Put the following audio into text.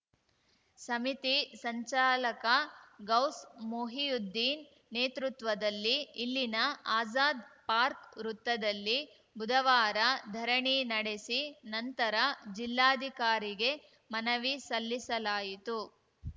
ಸಮಿತಿ ಸಂಚಾಲಕ ಗೌಸ್‌ ಮೊಹಿಯುದ್ದೀನ್‌ ನೇತೃತ್ವದಲ್ಲಿ ಇಲ್ಲಿನ ಆಜಾದ್‌ ಪಾರ್ಕ್ ವೃತ್ತದಲ್ಲಿ ಬುಧವಾರ ಧರಣಿ ನಡೆಸಿ ನಂತರ ಜಿಲ್ಲಾಧಿಕಾರಿಗೆ ಮನವಿ ಸಲ್ಲಿಸಲಾಯಿತು